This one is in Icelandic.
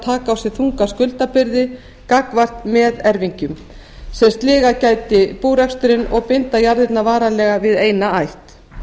taka á sig þunga skuldabyrði gagnvart meðerfingjum sem sligað gæti búreksturinn og að binda jarðirnar varanlega við eina ætt